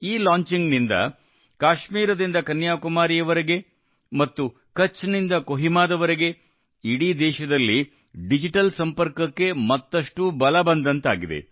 ಈ ಲಾಂಚಿಂಗ್ ನಿಂದ ಕಾಶ್ಮೀರದಿಂದ ಕನ್ಯಾಕುಮಾರಿಯವರೆಗೆ ಮತ್ತು ಕಚ್ ನಿಂದ ಕೊಹಿಮಾವರೆಗೆ ಇಡೀ ದೇಶದಲ್ಲಿ ಡಿಜಿಟಲ್ ಸಂಪರ್ಕಕ್ಕೆ ಮತ್ತಷ್ಟು ಬಲ ಬಂದಂತಾಗಿದೆ